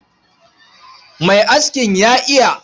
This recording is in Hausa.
Mai askin ya iya.